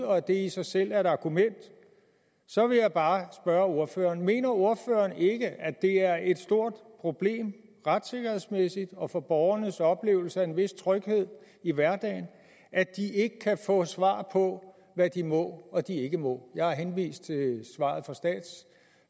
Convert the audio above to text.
og at det i sig selv er et argument så vil jeg bare spørge ordføreren mener ordføreren ikke at det er et stort problem retssikkerhedsmæssigt og for borgernes oplevelse af en vis tryghed i hverdagen at de ikke kan få svar på hvad de må og hvad de ikke må jeg har henvist til svaret